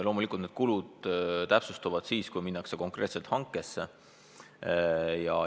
Loomulikult need kulud täpsustuvad siis, kui minnakse konkreetselt hankesse.